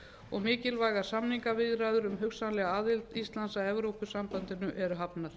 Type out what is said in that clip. og mikilvægar samningaviðræður um hugsanlega aðild íslands að evrópusambandinu eru hafnar